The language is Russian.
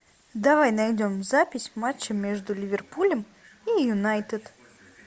давай найдем запись матча между ливерпулем и юнайтед